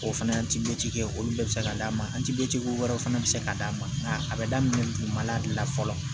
O fana kɛ olu bɛɛ bɛ se ka d'a ma wɛrɛw fana bɛ se ka d'a ma a bɛ daminɛ dugumala de la fɔlɔ